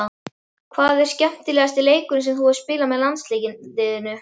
Hvað er skemmtilegasti leikurinn sem þú hefur spilað með landsliðinu?